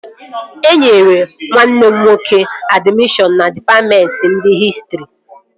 E nyere nwanne m nwoke admishọn na dịpatmentị nke hịstrị